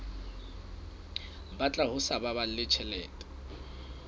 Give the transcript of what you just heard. batla ho sa baballe tjhelete